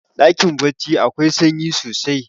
dakin baccin akwai sanyi sosai